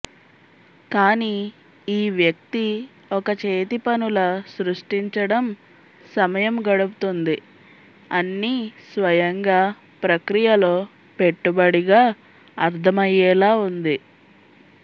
కానీ ఈ వ్యక్తి ఒక చేతిపనుల సృష్టించడం సమయం గడుపుతుంది అన్ని స్వయంగా ప్రక్రియలో పెట్టుబడి గా అర్థమయ్యేలా ఉంది